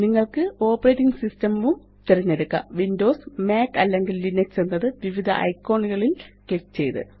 നിങ്ങള്ക്ക് operating system വും തിരഞ്ഞെടുക്കാം വിൻഡോസ് മാക് അല്ലെങ്കില് ലിനക്സ് എന്നത് വിവിധ ഐക്കോൺ കളില് ക്ലിക്ക് ചെയ്ത്